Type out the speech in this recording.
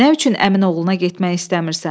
"Nə üçün əmin oğluna getmək istəmirsən?